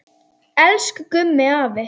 Elsku Gummi afi.